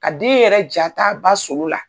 Ka den yɛrɛ jat'a ba solo la.